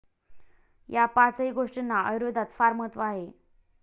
या पाचही गोष्टींना आयुर्वेदात फार महत्व आहे.